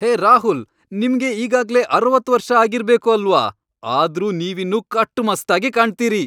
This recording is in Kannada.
ಹೇ ರಾಹುಲ್, ನಿಮ್ಗೆ ಈಗಾಗ್ಲೇ ಅರವತ್ ವರ್ಷ ಆಗಿರ್ಬೇಕು ಅಲ್ವಾ, ಆದ್ರೂ ನೀವಿನ್ನೂ ಕಟ್ಟುಮಸ್ತಾಗಿ ಕಾಣ್ತೀರಿ.